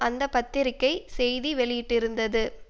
அந்த பத்திரிக்கை செய்தி வெளியிட்டிருந்தது